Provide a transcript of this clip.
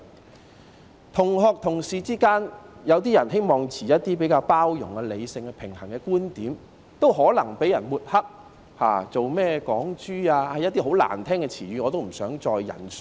在同學、同事之間，有些人希望抱持比較包容、理性、平衡的觀點，亦可能被抹黑為"港豬"等十分難聽的名號，我也不想再引述。